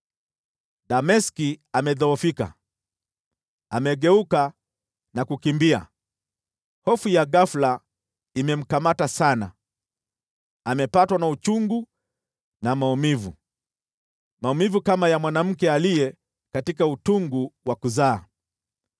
Dameski amedhoofika, amegeuka na kukimbia, hofu ya ghafula imemkamata sana; amepatwa na uchungu na maumivu, maumivu kama ya mwanamke katika utungu wa kuzaa.